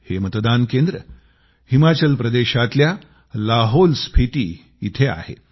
हे मतदान केंद्र हिमाचल प्रदेशातल्या लाहौलस्फिती इथं आहे